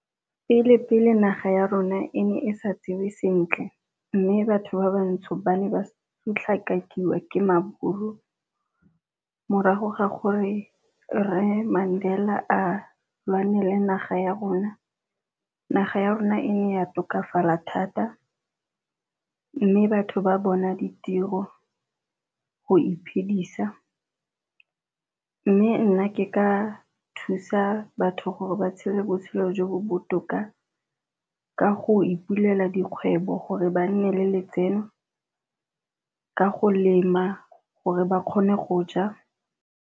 Pele-pele naga ya rona e ne e sa tsewe sentle mme batho ba bantsho ba ne ba sotlhakakiwa ke maburu, morago ga gore Rre Mandela a lwanele naga ya rona. Naga ya rona e ne ya tokafala thata, mme batho ba bona ditiro go iphedisa. Mme nna ke ka thusa ya batho gore ba tshele botshelo jo bo botoka ka go ipulela dikgwebo gore ba nne le letseno ka go lema gore ba kgone go ja.